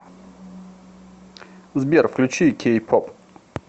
сбер включи кей поп